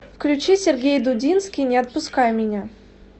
включи сергей дудинский не отпускай меня